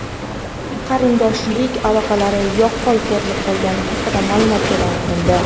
qarindoshchilik aloqalari yaqqol ko‘rinib qolgani haqida ma’lumot e’lon qilindi.